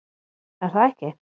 Er það ekki